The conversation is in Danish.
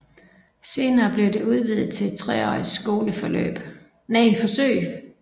Senere blev det udvidet til et treårigt skoleforsøg